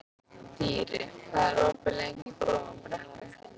Dýri, hvað er opið lengi í Blómabrekku?